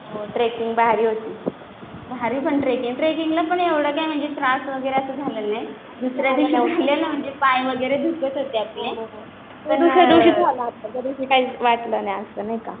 हो ट्रेकिंग भारी होती. भारी पण ट्रेकिंग ट्रेकिंगला पण म्हणजे एवढा काही त्रास वगैरे झालेला नाही. दुसऱ्या दिवशी उठले ना म्हणजे पाय वगैरे दुखत होते आपले. ते दुसऱ्या दिवशीच झालं. त्या दिवशी काहीच वाटलं नाही असं नाही का.